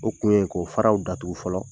O kun ye k'o faraw datugu fɔlɔ